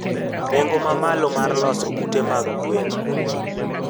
Nengo mamalo mar loso ute mag gwen.